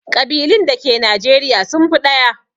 ƙabilun dake Nijeriya sun fi ɗaya.